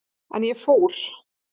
En ég fór.